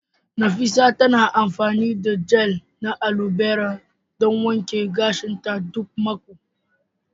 Nafisah tana amfani da gel na alobera don wanke gashinta duk mako.